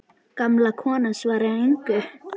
Gamla konan svarar engu.